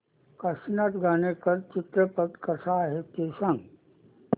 काशीनाथ घाणेकर चित्रपट कसा आहे ते सांग